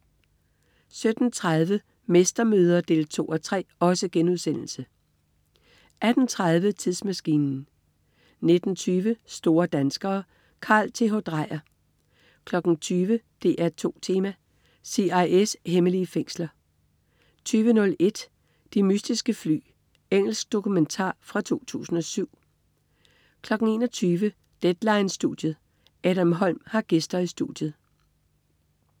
17.30 Mestermøder 2:3* 18.30 Tidsmaskinen 19.20 Store danskere. Carl Th. Dreyer 20.00 DR2 Tema: CIA's hemmelige fængsler 20.01 De mystiske fly. Engelsk dokumentar fra 2007 21.00 Deadline-studiet. Adam Holm har gæster i studiet